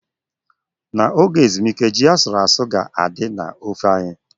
N'oge ezumike, ji asuru-asu ga-adị na ofe anyị.